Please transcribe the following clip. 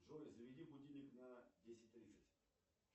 джой заведи будильник на десять тридцать